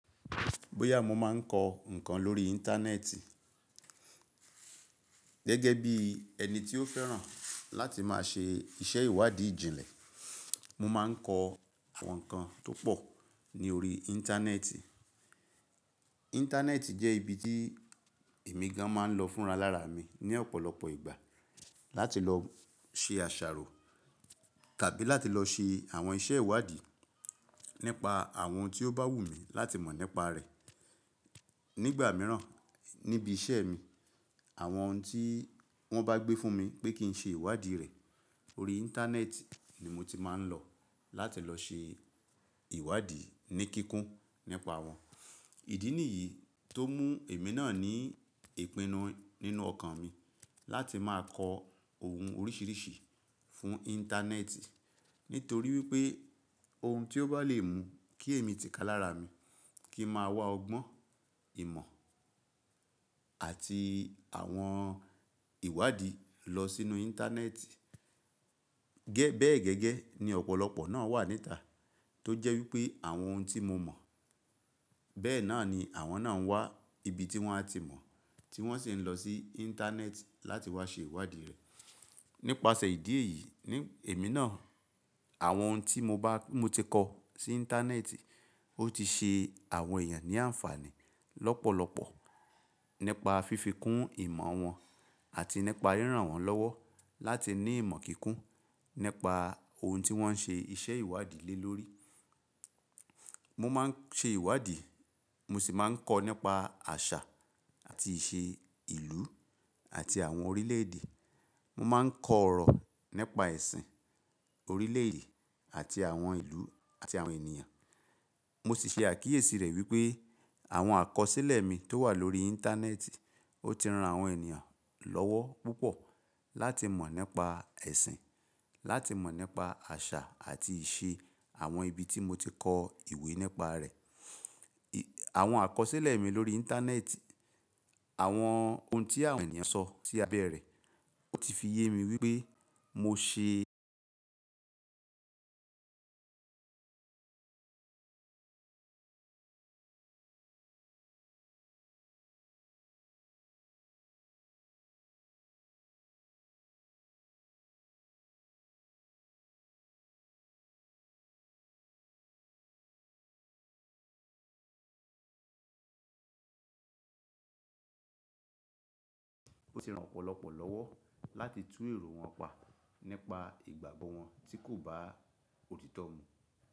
Bóyá mo máa ń kọ ǹnkan lórí Íńtánẹ́ẹ̀tì gẹ́gẹ́ bí ẹni tí ó fẹ́ràn láti máa ṣe iṣẹ́ ìwádìí ìjìnlẹ̀, mo máa ń kọ àwọn nǹkan tó pọ̀ ní orí Íńtánẹ́ẹ̀tì. Íńtánẹ́ẹ̀tì jẹ́ ibi tí èmi gan máa ń lọ fúnra lára mi ní ọ̀pọ̀lọpọ̀ ìgbà láti lọ ṣe àṣàrò tàbí láti lọ ṣe àwọn iṣẹ́ ìwádìí nípa àwọn ohun tí ó bá wù mí láti mọ̀ nípa rẹ̀. Nígbà mìíràn níbi iṣẹ́ mi, àwọn oun tí wọ́n bá gbé fún mi pé kí n ṣe ìwádìí rẹ̀ orí Íńtánẹ́ẹ̀tì ni mo ti máa ń lọ láti lọ ṣe ìwádìí ní kíkún nípa wọn. Ìdí nìyí tó mú èmi náà ní ìpinnu nínú ọkàn mi láti máa kọ ohun oríṣiiríṣii fún Íńtánẹ́ẹ̀tì nítorí wípé ohun tí ó bá le mú kí èmi ti ka lára mi kì n máa wá ọgbọ́n, ìmọ̀ àti àwọn ìwádìí lọ sínú Íńtánẹ́ẹ̀tì. Gẹ́-- bẹ́ẹ̀ gẹ́gẹ́ ní ọ̀pọ̀lọpọ̀ náà wà níta tó jẹ́ wípé àwọn ohun tí mo mọ̀ bẹ́ẹ̀ náà ni àwọn náà ń wá ibi tí wọ́n á ti mọ̀ tí wọ́n sì ń lọ sí Íńtánẹ́ẹ̀tì láti wá ṣe ìwádìí rẹ̀. Nípasẹ̀ ìdí èyí ní èmi náà àwọn ohun tí mo bá, mo ti kọ sí Íńtánẹ́ẹ̀tì ó ti ṣe àwọn èèyàn ní àǹfààní lọ́pọ̀lọpọ̀ nípa fífi kún ìmọ̀ wọn àti nípa ríran wọn lọ́wọ́ láti ní ìmọ̀ kíkún nípa ohun tí wọ́n ń ṣe iṣẹ́ ìwádìí lé lórí. Mo máa ń ṣe ìwádìí, mo sì máa ń kọ nípa àṣà àti ìṣe ìlú àti àwọn orílẹ̀ èdè. Mo máa ń kọ ọ̀rọ̀ nípa ẹ̀sìn orílẹ̀ èdè àti àwọn ìlú àti àwọn ènìyàn. Mo sì ṣe àkíyèsí rẹ̀ wípé àwọn àkọsílẹ̀ mi tó wà lórí Íńtánẹ́ẹ̀tì ó ti ran àwọn ènìyàn lọ́wọ́ púpọ̀ láti mọ̀ nípa ẹ̀sìn, láti mọ̀ nípa àṣà àti ìṣe àwọn ibi tí mo ti kọ ìwé nípa rẹ̀. Àwọn àkọsílẹ̀ mi lórí Íńtánẹ́ẹ̀tì, àwọn ohun tí àwọn ènìyàn sọ sí abẹ́ rẹ̀ ó ti fi yé mi wípé mo ṣe ó ti ran ọ̀pọ̀lọpọ̀ lọ́wọ́ láti tún èrò wọn pa nípa ìgbàgbọ́ wọn tí kò bá òtítọ́ mu.